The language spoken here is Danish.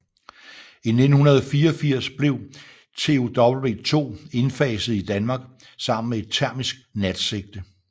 I 1984 blev TOW 2 indfaset i Danmark sammen med et termisk natsigte